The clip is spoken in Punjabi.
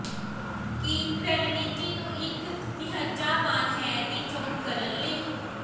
ਕੀ ਰਣਨੀਤੀ ਨੂੰ ਇੱਕ ਨਿਹਚਾਵਾਨ ਹੈ ਦੀ ਚੋਣ ਕਰਨ ਲਈ